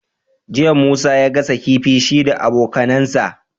Jiya musa ya gasa kifi shi da abokAnan sa